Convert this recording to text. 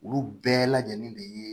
Olu bɛɛ lajɛlen de ye